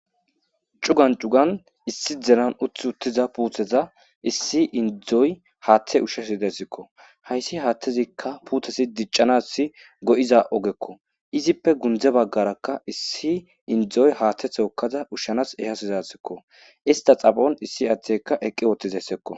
Cugan cugan issi delan uth uttiza puutheza issi indzdzoy haaththe ushshesi dessikko hayssi haattezikka puuthesi diccanasi go7iza ogekko izippe gundze baggarakka issi indzdzoy haaththe thookkaza ushshanas ehasizasikko ista xafon issi aaththekka eqqi oottizeyssekko.